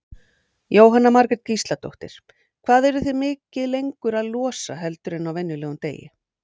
Jóhanna Margrét Gísladóttir: Hvað eruð þið mikið lengur að losa heldur en á venjulegum degi?